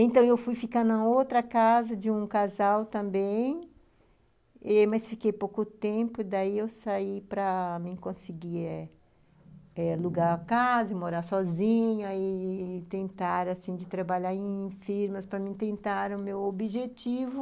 Então, eu fui ficar na outra casa de um casal também ê mas fiquei pouco tempo, daí eu saí para mim conseguir alugar a casa, morar sozinha i-i tentar, assim, de trabalhar em firmas para mim tentar o meu objetivo.